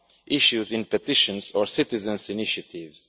issues in petitions or citizens' initiatives.